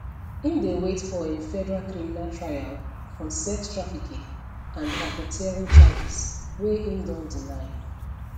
im dey wait for im federal criminal trial on sex trafficking and racketeering charges wey im don deny